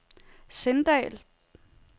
Sindal